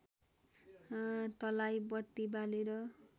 तलाई बत्ति बालेर